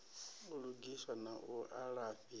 u lugiswa na u alafhiwa